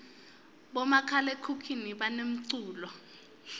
bomakhalakhukhuni banemculo